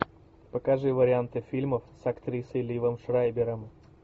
покажи варианты фильмов с актрисой ливом шрайбером